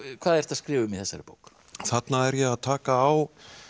hvað ertu að skrifa um í þessari bók þarna er ég að taka á